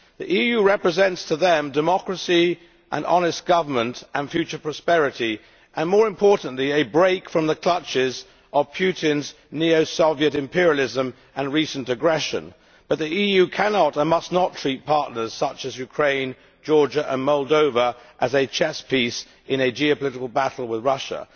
The EU represents to them democracy, honest government, future prosperity and, more importantly, a break from the clutches of Putin's neo Soviet imperialism and recent aggression. But the EU cannot and must not treat partners such as Ukraine, Georgia and Moldova as a chess piece in a geopolitical battle with Russia.